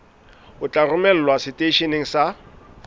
o tla romelwa seteisheneng sa